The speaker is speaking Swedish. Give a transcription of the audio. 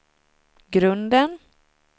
grunden